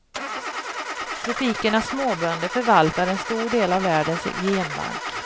Tropikernas småbönder förvaltar en stor del av världens genbank.